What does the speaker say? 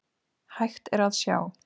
Hægt er að sjá